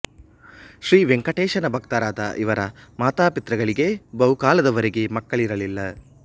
ಶ್ರೀ ವೆಂಕಟೇಶನ ಭಕ್ತರಾದ ಇವರ ಮಾತಾಪಿತೃಗಳಿಗೆ ಬಹುಕಾಲದ ವರೆಗೆ ಮಕ್ಕಳಿರಲಿಲ್ಲ